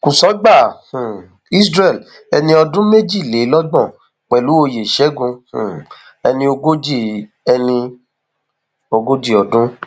kùsọgbà um isreal ẹni ọdún méjìlélọgbọn pẹlú oyè ṣẹgun um ẹni ogójì ẹni ogójì ọdún